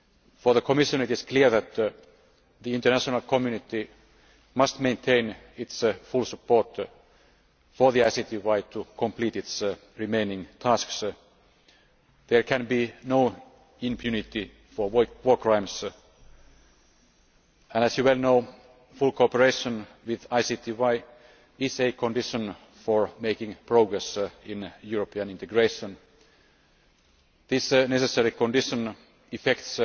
For the Commission, it is clear that the international community must maintain its full support for the ICTY to complete its remaining tasks. There can be no impunity for war crimes and, as you well know, full cooperation with ICTY is a condition for making progress in European integration. This necessary condition affects